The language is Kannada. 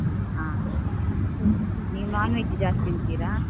ಹಾ ಹ ಹ ನೀವ್ non veg ಜಾಸ್ತಿ ತಿಂತೀರಾ?